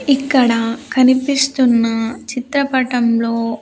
ఇక్కడ కనిపిస్తున్న చిత్రపటంలో .]